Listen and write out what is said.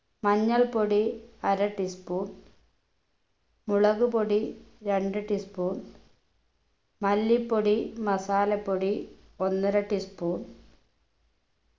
മഞ്ഞൾപൊടി അര tea spoon മുളക് പൊടി രണ്ടു tea spoon മല്ലിപ്പൊടി masala പ്പൊടി ഒന്നര tea spoon